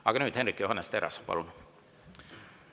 Aga nüüd, Hendrik Johannes Terras, palun!